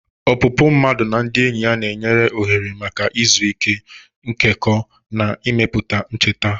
Opupu mmadu na ndị enyi na-enye ohere maka izu ike, nkekọ, na imepụta ncheta.